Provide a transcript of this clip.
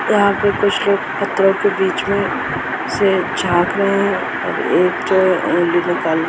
यहाँ पे कुछ लोग पत्थरों के बीच में से झाक रहे हैं मतलब --